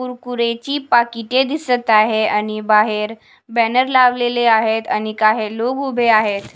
कुरकुरेची पाकिटे दिसत आहे आणि बाहेर बॅनर लावलेले आहेत आणि काही लोक उभे आहेत.